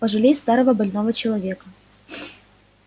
пожалей старого больного человека